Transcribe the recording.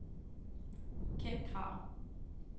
Ken Kragh